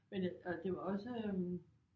Men øh og det jo også